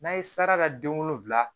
N'a ye sarata den wolonfila